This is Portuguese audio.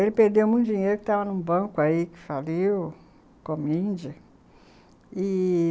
Ele perdeu muito dinheiro porque estava em um banco que faliu com a míndia.